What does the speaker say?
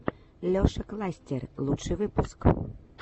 леша кластер лучший выпуск